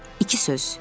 İki söz.